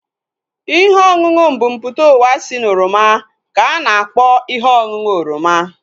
Ihe ọṅụṅụ mbumputauwa si na oroma ka a na-akpọ ihe ọṅụṅụ oroma